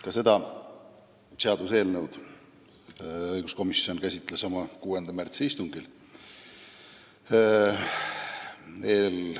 Ka seda seaduseelnõu käsitles õiguskomisjon oma 6. märtsi istungil.